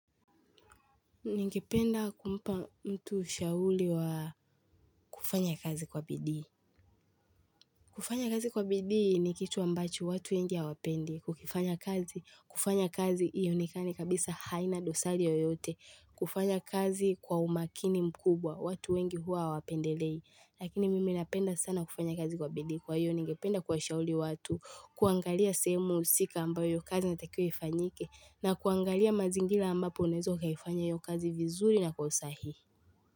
Ningependa kumpa mtu ushauli wa kufanya kazi kwa bidii. Kufanya kazi kwa bidii ni kitu ambacho watu wengi hawapendi. Kukifanya kazi. Kufanya kazi iyonekane kabisa haina dosali yoyote. Kufanya kazi kwa umakini mkubwa. Watu wengi hua wapendelei. Lakini mimi napenda sana kufanya kazi kwa bidii. Kwa iyo ningependa kwa shauli watu. Kuangalia sehemu usika ambayo kazi inatakiwa ifanyike. Na kuangalia mazingila ambapo unaeza ukaifanya hiyo kazi vizuri na kwa usahihi.